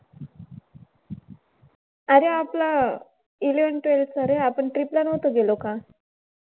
अरे आपला eleventh twelfth चा रे. आपण trip ला नव्हतो गेलो का?